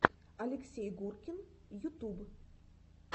алексей гуркин ютуб